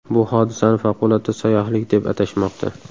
Bu hodisani favqulodda sayyohlik deb atashmoqda.